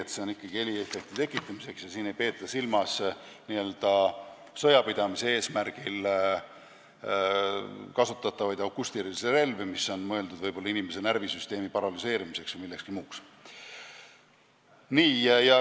Need on ikkagi heliefekti tekitamiseks ja nende hulka ei kuulu sõjapidamise eesmärgil kasutatavad akustilised relvad, mis on mõeldud inimese närvisüsteemi paralüseerimiseks või millekski muuks.